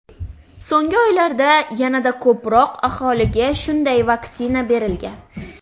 So‘nggi oylarda yanada ko‘proq aholiga shunday vaksina berilgan.